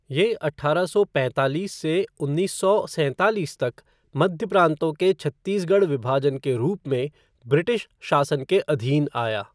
ये अठारह सौ पैंतालीस से उन्नीस सौ सैंतालीस तक मध्य प्राँतों के छत्तीसगढ़ विभाजन के रूप में ब्रिटिश शासन के अधीन आया।